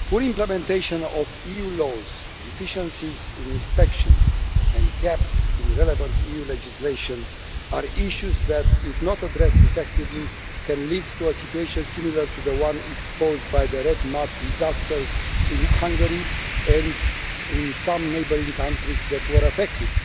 Mr President, poor implementation of EU laws, deficiencies in inspections and gaps in the relevant EU legislation are issues that, if not addressed effectively, can lead to a situation similar to the one exposed by the red mud disaster in Hungary and in some neighbouring countries that were affected.